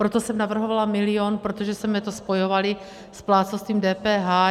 Proto jsem navrhovala milion, protože jsme to spojovali s plátcovstvím DPH.